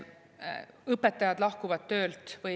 Õpetajad lahkuvad töölt.